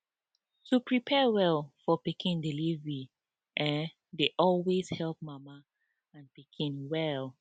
to prepare well for pikin delivery[um]dey always help mama and pikin well